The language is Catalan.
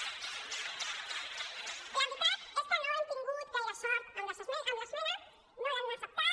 la veritat és que no hem tingut gaire sort amb l’esmena no l’han acceptada